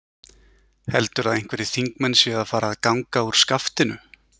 Heldurðu að einhverjir þingmenn séu að fara að ganga úr skaftinu?